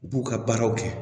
U b'u ka baaraw kɛ